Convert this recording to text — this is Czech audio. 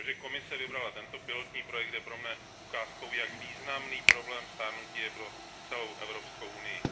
To, že Komise vybrala tento pilotní projekt, je pro mne ukázkou, jak významný je problém stárnutí pro celou Evropskou unii.